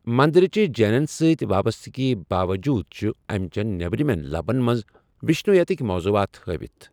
مندرٕچہِ جینن سۭتۍ وابستگی باوجوٗد، چھِ امہِ چٮ۪ن نیٔبرِمٮ۪ن لبن منٛز وشنویتٕكہِ موضوعات ہٲوِتھ ۔